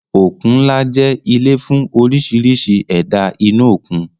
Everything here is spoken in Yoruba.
Òkun ńlá jẹ́ ilé fún oríṣiríṣi ẹ̀dá inú òkun